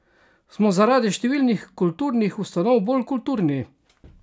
Smo zaradi številnih kulturnih ustanov bolj kulturni?